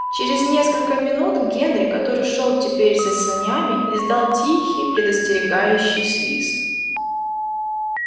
через несколько минут генри который шёл теперь за санями издал тихий предостерегающий свист